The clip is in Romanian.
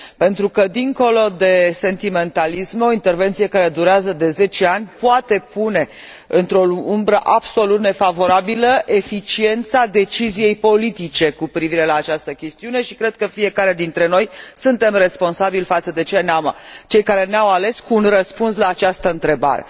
Pentru că, dincolo de sentimentalisme, o intervenție care durează de zece ani poate pune într o umbră absolut nefavorabilă eficiența deciziei politice cu privire la această chestiune și cred că fiecare dintre noi suntem responsabili față de cei care ne au ales cu un răspuns la această întrebare.